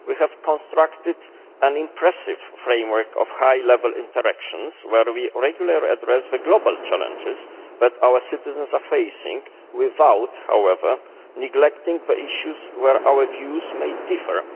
We have constructed an impressive framework of high level interactions where we regularly address the global challenges that our citizens are facing without, however, neglecting the issues where our views may differ.